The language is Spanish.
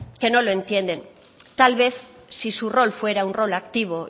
que no lo entienden tal vez si su rol fuera un rol activo